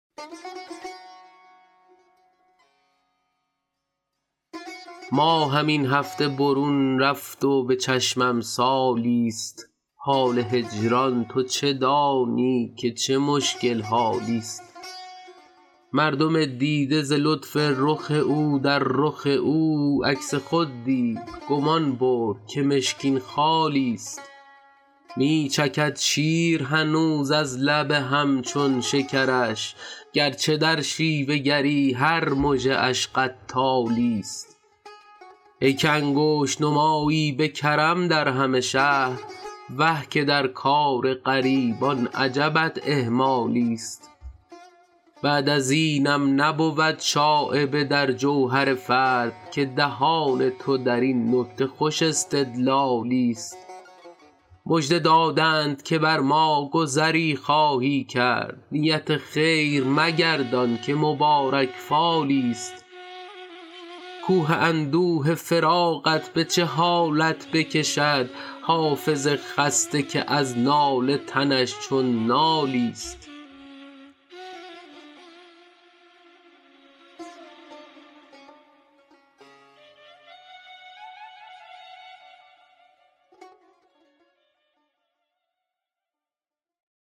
ماهم این هفته برون رفت و به چشمم سالی ست حال هجران تو چه دانی که چه مشکل حالی ست مردم دیده ز لطف رخ او در رخ او عکس خود دید گمان برد که مشکین خالی ست می چکد شیر هنوز از لب هم چون شکرش گر چه در شیوه گری هر مژه اش قتالی ست ای که انگشت نمایی به کرم در همه شهر وه که در کار غریبان عجبت اهمالی ست بعد از اینم نبود شایبه در جوهر فرد که دهان تو در این نکته خوش استدلالی ست مژده دادند که بر ما گذری خواهی کرد نیت خیر مگردان که مبارک فالی ست کوه اندوه فراقت به چه حالت بکشد حافظ خسته که از ناله تنش چون نالی ست